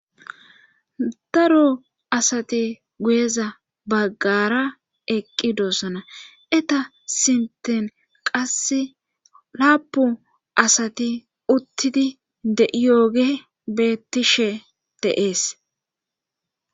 daro asati guyeza baggara eqqi doossana eta sinten qasse laapu asati uttidi de'iyooge bettishe de'ees